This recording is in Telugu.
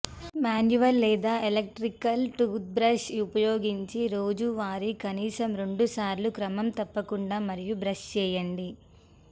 మాన్యువల్ లేదా ఎలక్ట్రిక్ టూత్బ్రష్ ఉపయోగించి రోజువారీ కనీసం రెండుసార్లు క్రమం తప్పకుండా మరియు బ్రష్ చేయండి